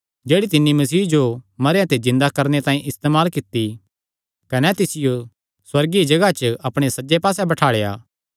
जेह्ड़ी तिन्नी मसीह जो मरेयां ते जिन्दा करणे तांई इस्तेमाल कित्ती कने तिसियो सुअर्गीय जगाह च अपणे सज्जे पास्से बठाल़ेया